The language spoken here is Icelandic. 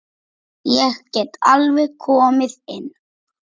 Ég get alveg komið inn.